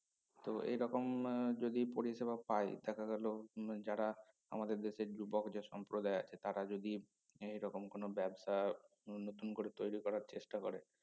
তো এরকম আহ যদি পরিসেবা পাই দেখা গেলো হম যারা আমাদের দেশের যুবক যে সম্প্রদায় আছে তারা যদি এ রকম কোনো ব্যবসা উম নতুন করে তৈরি করার চেষ্টা করে